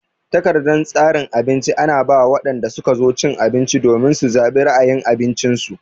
Takardan tsarin abinci ana ba wadanda suka zo cin abinci domin su zabi ra'ayin abincin su.